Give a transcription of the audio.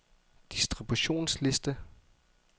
distributionsliste